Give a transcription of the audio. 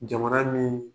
Jamana min